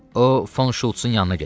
O Von Şultsın yanına gedir.